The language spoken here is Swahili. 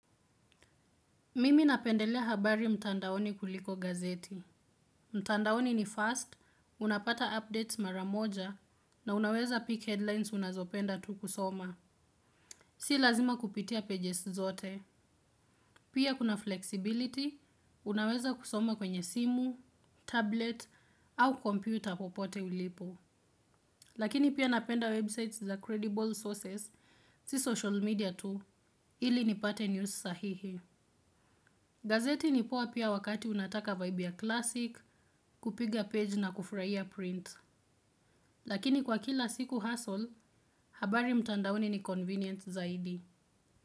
Mimi napendelea habari mtandaoni kuliko gazeti. Mtandaoni ni fast, unapata updates maramoja na unaweza peak headlines unazopenda tu kusoma. Si lazima kupitia pages zote. Pia kuna flexibility, unaweza kusoma kwenye simu, tablet au computer popote ulipo. Lakini pia napenda websites za credible sources, si social media tu, ili nipate news sahihi. Gazeti nipoa pia wakati unataka vbe ya klasik, kupiga page na kufraia print. Lakini kwa kila siku hassle, habari mtandaoni ni convenience zaidi.